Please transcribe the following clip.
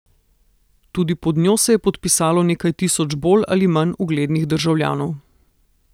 Tudi pod njo se je podpisalo nekaj tisoč bolj ali manj uglednih državljanov.